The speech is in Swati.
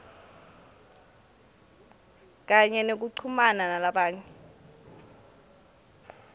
kanye nekuchumana nalamanye